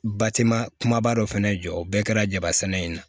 Batima kumaba dɔ fana jɔ o bɛɛ kɛra jabasana in na